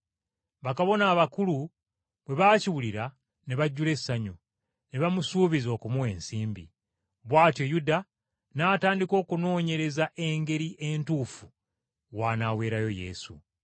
Bakabona abakulu bwe baakiwulira ne basanyuka nnyo, ne bamusuubiza okumuwa ensimbi. Bw’atyo Yuda n’atandika okunoonyereza engeri entuufu w’anaaweerayo Yesu.